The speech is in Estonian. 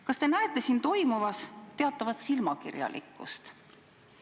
" Kas te näete siin toimuvas teatavat silmakirjalikkust?